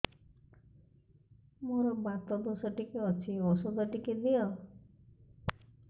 ମୋର୍ ବାତ ଦୋଷ ଟିକେ ଅଛି ଔଷଧ ଟିକେ ଦିଅ